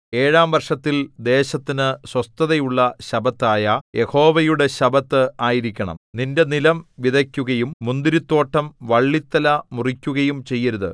ഏഴാം വർഷത്തിൽ ദേശത്തിന് സ്വസ്ഥതയുള്ള ശബ്ബത്തായ യഹോവയുടെ ശബ്ബത്ത് ആയിരിക്കണം നിന്റെ നിലം വിതയ്ക്കുകയും മുന്തിരിത്തോട്ടം വള്ളിത്തല മുറിക്കുകയും ചെയ്യരുത്